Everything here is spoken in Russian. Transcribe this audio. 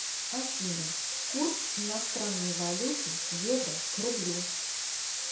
афина курс иностранной валюты евро к рублю